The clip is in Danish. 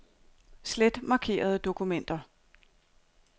Slet markerede dokumenter.